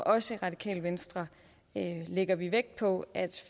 os i radikale venstre lægger vi vægt på at